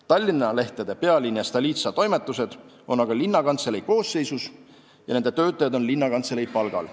Tallinna lehtede Pealinn ja Stolitsa toimetused on aga linnakantselei koosseisus ja nende töötajad on linnakantselei palgal.